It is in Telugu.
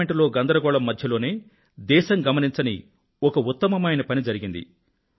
పార్లమెంట్ లో గందరగోళం మధ్యలోనే దేశం గమనించని ఒక ఉత్తమమైన పని జరిగింది